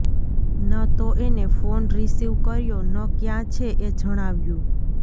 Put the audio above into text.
ન તો એને ફોન રીસીવ કર્યો ન ક્યાં છે એ જણાવ્યું